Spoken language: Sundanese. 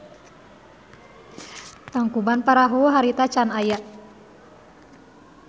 Tangkuban Parahu harita can aya.